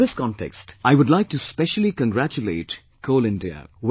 In this context, I would like to specially congratulate Coal India